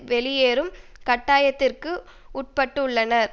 வெளியேறும் கட்டாயத்திற்கு உட்பட்டுள்ளனர்